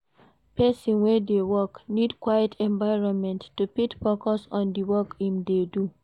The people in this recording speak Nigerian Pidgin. Person wey de work need quite environment to fit focus on di work im de do